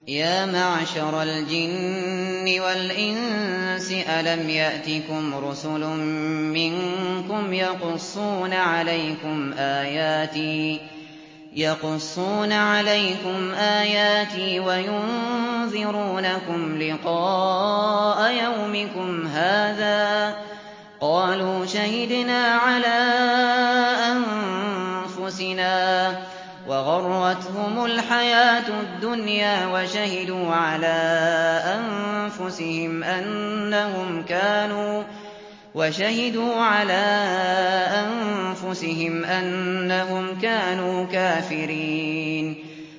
يَا مَعْشَرَ الْجِنِّ وَالْإِنسِ أَلَمْ يَأْتِكُمْ رُسُلٌ مِّنكُمْ يَقُصُّونَ عَلَيْكُمْ آيَاتِي وَيُنذِرُونَكُمْ لِقَاءَ يَوْمِكُمْ هَٰذَا ۚ قَالُوا شَهِدْنَا عَلَىٰ أَنفُسِنَا ۖ وَغَرَّتْهُمُ الْحَيَاةُ الدُّنْيَا وَشَهِدُوا عَلَىٰ أَنفُسِهِمْ أَنَّهُمْ كَانُوا كَافِرِينَ